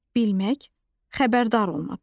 Bilmək, xəbərdar olmaq.